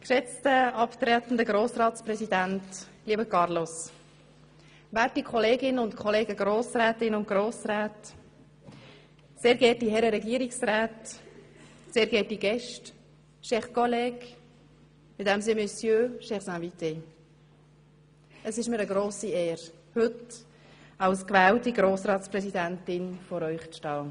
Geschätzter abtretender Grossratspräsident, lieber Carlos, werte Kolleginnen und Kollegen, Grossrätinnen und Grossräte, sehr geehrte Herren Regierungsräte, sehr geehrte Gäste, chers collègues, mesdames et messieurs, chers invités, es ist mir eine grosse Ehre, heute als gewählte Grossratspräsidentin vor Ihnen zu stehen.